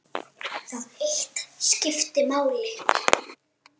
Það eitt skipti máli.